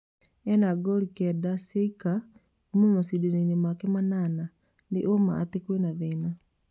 Ena ngolu kenda cioika kuma macindano-inĩ make manana, nĩ ũma atĩ kwĩna thĩna